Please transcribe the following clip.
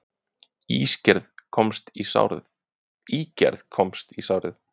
Ígerð komst í sárið